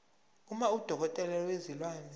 uma udokotela wezilwane